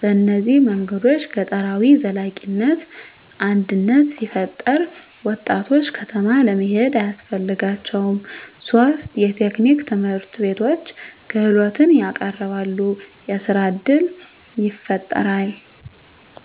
በእነዚህ መንገዶች ገጠራዊ ዘላቂነት አድነት ሲፈጠራ፣ ወጣቶች ከተማ ለመሄድ አያስፈልጋቸውም ; 3 የቴክኒክ ትምህርትቤቶች _ክህሎትን ያቀረበሉ፣ የሥራ እድል ይፈጣራል።